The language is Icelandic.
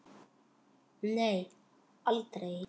Nei, aldrei.